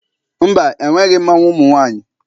Mba, enweghị mmanwụ ụmụ nwaanyị.